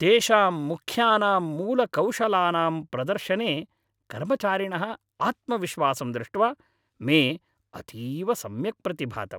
तेषां मुख्यानां मूलकौशलानां प्रदर्शने कर्मचारिणः आत्मविश्वासं दृष्ट्वा मे अतीव सम्यक् प्रतिभातम्।